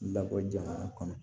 Labɔ jamana kɔnɔ